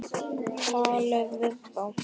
Talið við þá.